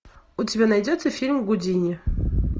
у тебя найдется фильм гудини